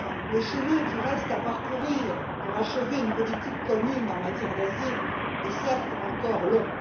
Le chemin qui reste à parcourir pour achever une politique commune en matière d'asile est certes encore long.